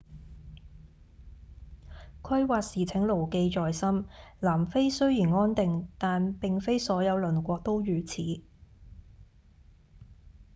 規劃時請牢記在心南非雖然安定但並非所有鄰國都如此